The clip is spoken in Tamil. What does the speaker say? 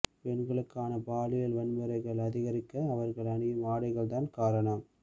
பெண்களுக்கான பாலியல் வன்முறைகள் அதிகரிக்க அவர்கள் அணியும் ஆடைகள்தான் காரணம்